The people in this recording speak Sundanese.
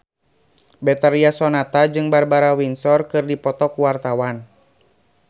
Betharia Sonata jeung Barbara Windsor keur dipoto ku wartawan